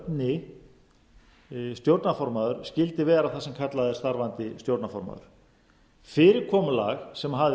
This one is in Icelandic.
hinn kjörni stjórnarformaður skyldi vera það sem kallað er starfandi stjórnarformaður fyrirkomulag sem